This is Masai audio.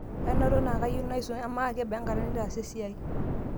ainoto naa kayieu naisum amaa kebaa enkata nitaasa esiai?